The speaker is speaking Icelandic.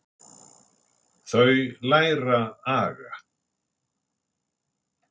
Þau læra aga.